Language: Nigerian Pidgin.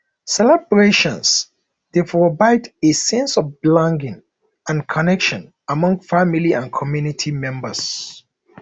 celebrations dey provide a sense of belonging and connection among family and community members